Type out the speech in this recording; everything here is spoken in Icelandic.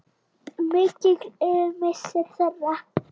Mikill er missir þeirra.